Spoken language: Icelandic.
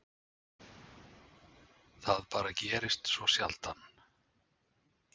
Það bara gerðist svo sjaldan.